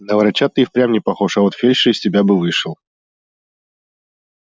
на врача ты и впрямь не похож а вот фельдшер из тебя бы вышел